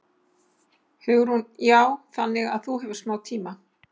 Hugrún: Já, þannig að þú hefur smá tíma?